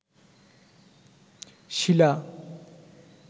শিলা